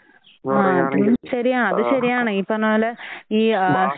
ആ അതും ശരിയാ. അതുശരിയാണ് ഈ പറഞ്ഞപോലെ ഈ ആഹ്